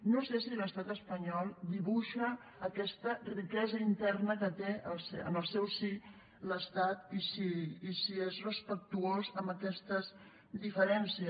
no sé si l’estat espanyol dibuixa aquesta riquesa interna que té en el seu si l’estat i si és respectuós amb aquestes diferències